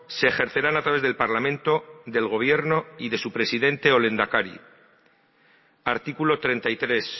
se ejercerán a través del parlamento del gobierno y de su presidente o lehendakari artículo treinta y tres